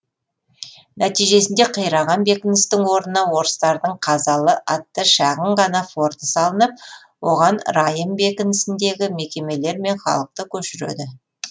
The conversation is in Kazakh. нәтижесінде қираған бекіністің орнына орыстардың қазалы атты шағын ғана форты салынып оған райым бекінісіндегі мекемелер мен халықты көшіреді